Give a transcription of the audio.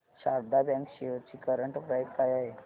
Sharda bank shares ची current price काय आहे